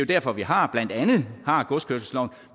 derfor vi har godskørselsloven